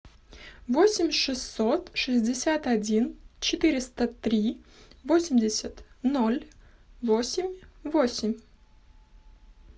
восемь шестьсот шестьдесят один четыреста три восемьдесят ноль восемь восемь